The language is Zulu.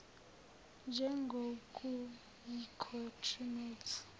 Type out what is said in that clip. njengokuyikho true notes